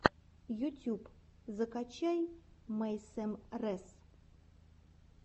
ютюб закачай мэйсэм рэс